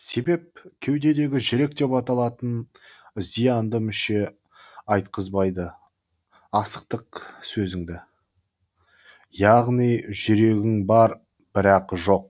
себеп кеудеңдегі жүрек деп аталатын зиянды мүше айтқызбайды асықтық сөзіңді яғни жүрегің бар бірақ жоқ